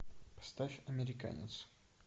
поставь американец